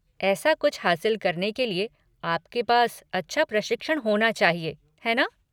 ऐसा कुछ हासिल करने के लिए आपके पास अच्छा प्रशिक्षण होना चाहिए, है ना?